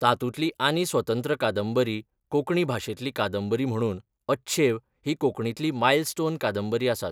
तातुंतली आनी स्वतंत्र कांदबरी कोंकणी भाशेंतली कांदबरी म्हणून अच्छेव ही कोंकणीतली मायलस्टोन कांदबरी आसात